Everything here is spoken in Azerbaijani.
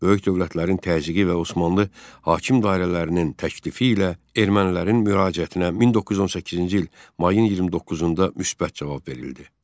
Böyük dövlətlərin təzyiqi və Osmanlı hakim dairələrinin təklifi ilə ermənilərin müraciətinə 1918-ci il mayın 29-da müsbət cavab verildi.